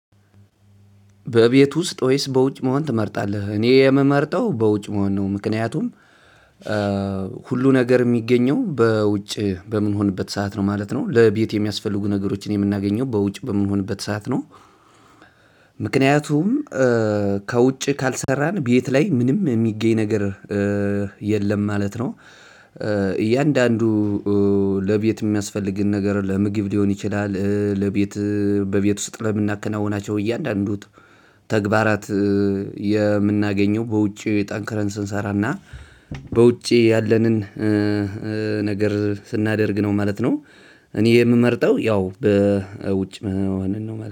በቤት ውስጥ ወይስ በውጭ መሆን ትመርጣለህ? እኔ የምመርጠው በውጭ መሆን ነው። ምክንያቱም ሁሉ ነገር የሚገኘው በውጭ በምንሆንበት ሰዓት ነው ማለት ነው። ለቤት የሚያስፈልጉ ነገሮችን የምናገኘው በውጭ በምሆንበት ሰዓት ነው። ምክንያቱም ከውጭ ካልሰራን ቤት ላይ ምንም የሚገኝ ነገር የለም ማለት ነው። እያንዳንዱ ለቤት የሚያስፈልግን ነገር ለምግብ ሊሆን ይችላል ለቤት በቤት ውስጥ ለምናከናውናቸው እያንዳንዱ ተግባራት የምናገኘው በውጪ ጠንክረን ስንሰራና በውጪ ያለንን ነገር ስናደርግ ነው ማለት ነው። እኔ የምመርጠው ያው በውጭ መሆንን ነው ማለት ነው።